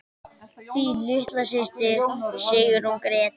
Þín litla systir, Sigrún Gréta.